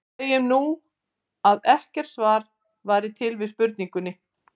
Segjum nú, að ekkert svar væri til við spurningunni.